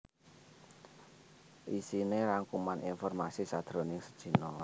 Iisiné rangkuman informasi sajroning sedina